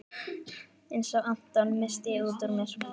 Einsog Anton, missi ég útúr mér.